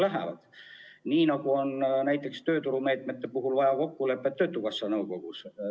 Samamoodi on näiteks tööturumeetmete puhul, seal on vaja kokkulepet töötukassa nõukogus.